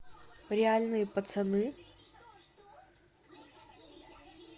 реальные пацаны